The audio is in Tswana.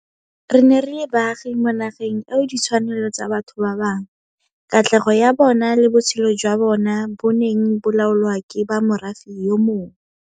Re ne re le baagi mo nageng eo ditshwanelo tsa batho ba bangwe, katlego ya bona le botshelo jwa bona bo neng bo laolwa ke ba morafe yo mongwe.